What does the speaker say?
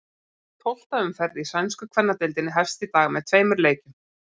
Tólfta umferð í sænsku kvennadeildinni hefst í dag með tveimur leikjum.